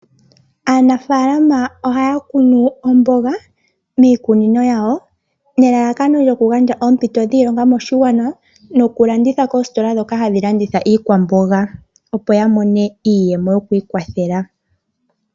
Aanafaalama ohaya kunu omboga miikunino yawo nelalakano lyokugandja oompito dhiilonga moshigwana yokulanditha koostola ndhoka hadhi landitha iikwamboga opo yamone iiyemo yokwiikwathela.